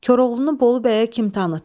Koroğlunu Bolu bəyə kim tanıtdı?